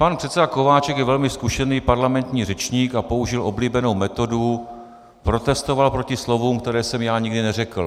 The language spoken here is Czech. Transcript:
Pan předseda Kováčik je velice zkušený parlamentní řečník a použil oblíbenou metodu: protestoval proti slovům, která jsem já nikdy neřekl.